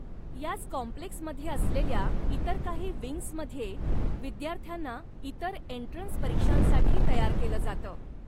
याच कॉम्प्लेक्समध्ये असलेल्या इतर काही विंग्समध्ये विद्यार्थ्यांना इतर एन्ट्रन्स परीक्षांसाठी तयार केलं जातं.